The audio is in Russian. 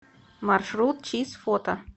маршрут чиз фото